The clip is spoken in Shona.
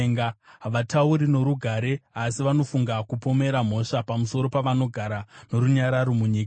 Havatauri norugare, asi vanofunga kupomera mhosva pamusoro pavanogara norunyararo munyika.